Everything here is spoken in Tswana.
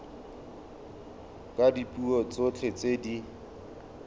ka dipuo tsotlhe tse di